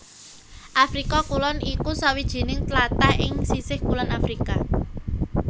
Afrika Kulon iku sawijining tlatah ing sisih kulon Afrika